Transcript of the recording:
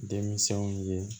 Denmisɛnw ye